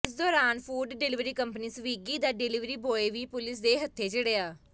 ਇਸ ਦੌਰਾਨ food delivery company Swiggy ਦਾ ਡਲਿਵਰੀ ਬੁਆਏ ਵੀ ਪੁਲਿਸ ਦੇ ਹੱਥੇ ਚੜਿਆ